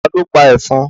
Ta ló pa ẹ̀fọn?